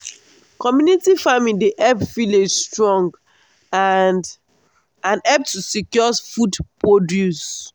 community farming dey help village strong and and help to secure food produce.